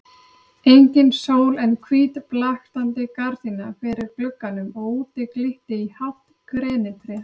Engin sól en hvít blaktandi gardína fyrir glugganum og úti glitti í hátt grenitré.